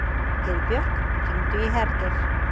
Heiðbjörk, hringdu í Hergeir.